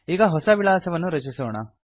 ಈಗ ಹೊಸ ವಿಳಾಸವನ್ನು ರಚಿಸೋಣ